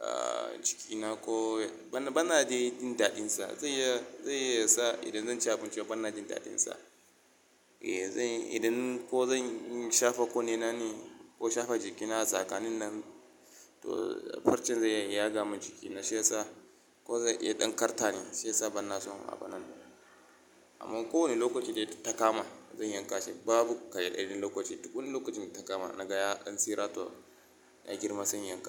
ahh jikina ko bana, bana dai jin daɗinsa. Zai iya, zai iya sa idan zan ci abinci bana jin daɗinsa. Eh zai, idan ko zan shafa kunni na ne ko shafa jikina a tsakanin nan to farcen zai iya yaga mun jikina shi yasa ko zai iya ɗan karta ni shi yasa bana son a binnan. Amma ko wane lokaci dai ta takama zan yanka shi babu ka yadacen lokaci, duk wani lokacin da ya takama na ga ya dan tsira to ya girma sai in yanka shi.